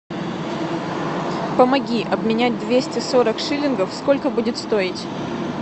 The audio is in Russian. помоги обменять двести сорок шиллингов сколько будет стоить